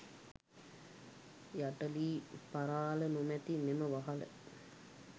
යට ලී පරාළ නොමැති මෙම වහල